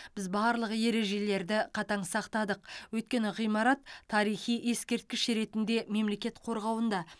біз барлық ережелерді қатаң сақтадық өйткені ғимарат тарихи ескерткіш ретінде мемлекет қорғауында